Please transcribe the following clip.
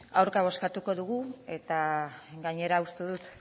aurka bozkatuko dugu eta gainera uste dut